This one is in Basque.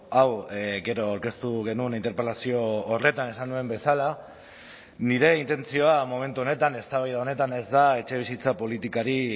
hau gero aurkeztu genuen interpelazio horretan esan nuen bezala nire intentzioa momentu honetan eztabaida honetan ez da etxebizitza politikari